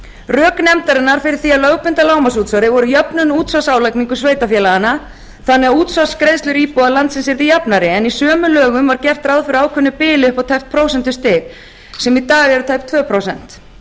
rök nefndarinnar fyrir því að lögbinda lágmarksútsvar var jöfnun útsvarsálagningar sveitarfélaganna þannig að útsvarsgreiðslur íbúa landsins yrðu jafnari en í sömu lögum var gert ráð fyrir ákveðnu bili upp á tæpt prósentustig sem í dag eru tæp tvö prósent